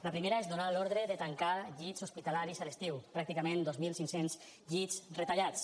la primera és donar l’ordre de tancar llits hospitalaris a l’estiu pràcticament dos mil cinc cents llits retallats